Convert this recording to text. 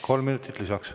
Kolm minutit lisaks.